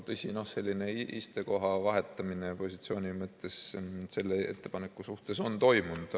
Tõsi, selline istekoha vahetamine positsiooni mõttes on selle ettepaneku suhtes toimunud.